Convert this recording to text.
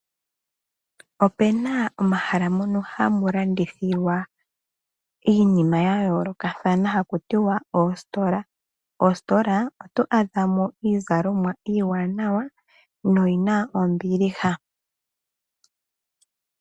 Opena omahala mono hamu landithilwa iinima yayoolokathana haku tiwa oositola, oositola oto adha mo iizalomwa iiwanawa na oyina ombiliha.